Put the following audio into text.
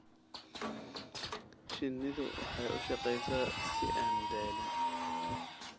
Shinnidu waxay u shaqeysaa si aan daalin.